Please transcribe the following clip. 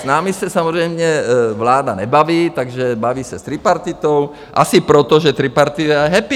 S námi se samozřejmě vláda nebaví, takže baví se s tripartitou asi proto, že tripartita je happy.